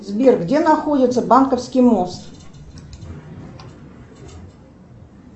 сбер где находится банковский мост